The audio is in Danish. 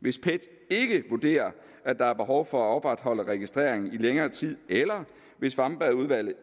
hvis pet ikke vurderer at der er behov for at opretholde registrering i længere tid eller hvis wambergudvalget